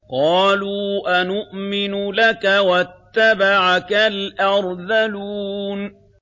۞ قَالُوا أَنُؤْمِنُ لَكَ وَاتَّبَعَكَ الْأَرْذَلُونَ